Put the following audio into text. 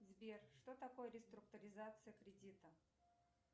сбер что такое реструктуризация кредита